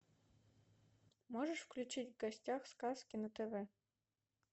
можешь включить в гостях сказки на тв